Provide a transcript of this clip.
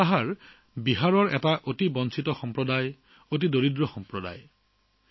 বিহাৰৰ মুশ্বাহাৰসকল অতি বঞ্চিত আৰু অতি দৰিদ্ৰ সম্প্ৰদায়